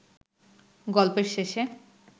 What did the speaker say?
গল্পের শেষে